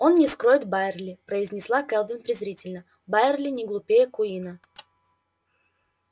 он не вскроет байерли произнесла кэлвин презрительно байерли не глупее куинна